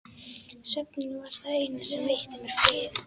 Svefninn var það eina sem veitti mér frið.